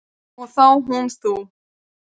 Og þá hún þú.